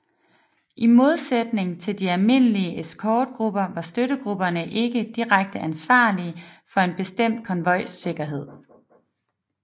I modsætning til de almindelige eskortegrupper var støttegrupperne ikke direkte ansvarlige for en bestemt konvojs sikkerhed